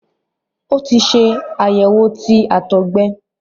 o tí ṣe àyẹwò tí àtọgbẹ